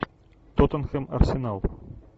тоттенхэм арсенал